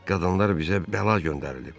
Qadınlar bizə bəla göndərilib.